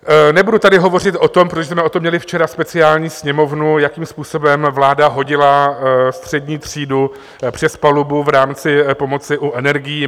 Nebudu tady hovořit o tom, proč jsme o tom měli včera speciální Sněmovnu, jakým způsobem vláda hodila střední třídu přes palubu v rámci pomoci u energií.